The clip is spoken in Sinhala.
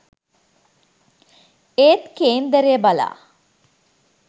ඒත් කේන්දරය බලා